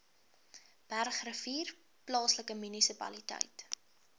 bergrivier plaaslike munisipaliteit